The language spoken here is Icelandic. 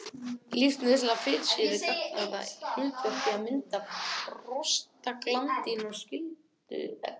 Lífsnauðsynlegar fitusýrur gegna því hlutverki að mynda prostaglandín og skyld efni.